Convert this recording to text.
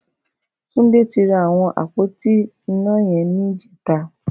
Tunde ti rá awọn ápótí iná yẹn nijẹ̀tá